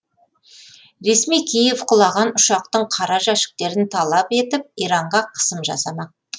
ресми киев құлаған ұшақтың қара жәшіктерін талап етіп иранға қысым жасамақ